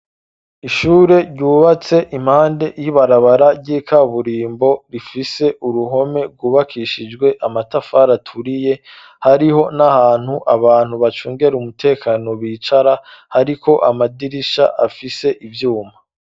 Ishure ryubatse, impande y'ibarabara, ry'ikaburimbo; rifise uruhome rwubakishijwe, amatafari aturiye, hariho n'ahantu, abantu bacungera umutekano, bicara; hariko amadirisha, afise ivyuma.